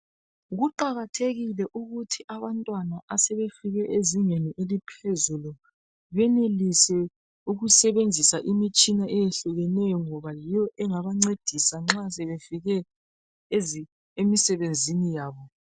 kuqakathekile ukuthi abantwana asebefike ezingeni benelise ukusebenzisa imitshina eyehlukeneyo ngoba yiyo engabancedisa nxa sebefike emisebenzini yabo